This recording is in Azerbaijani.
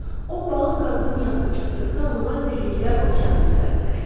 O balıq qadının yanına çatdıqda onlar birlikdə okeanı üzərdilər.